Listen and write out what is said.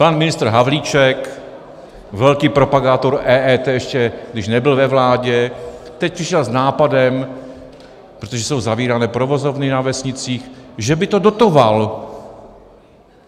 Pan ministr Havlíček, velký propagátor EET ještě, když nebyl ve vládě, teď přišel s nápadem, protože jsou zavírány provozovny na vesnicích, že by to dotoval.